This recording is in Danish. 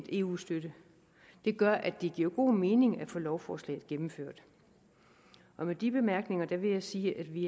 eu støtte gør at det giver god mening at få lovforslaget gennemført med de bemærkninger vil jeg sige at vi i